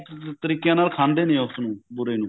ਤਰੀਕਿਆ ਨਾਲ ਖਾਂਦੇ ਨੇ ਉਸ ਨੂੰ ਬੁਰੇ ਨੂੰ